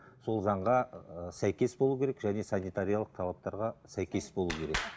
сол заңға ыыы сәйкес болу керек және санитариялық талаптарға сәйкес болу керек